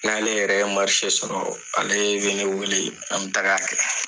N'ale yɛrɛ ye sɔrɔ, ale be ne wele an bi taga kɛ.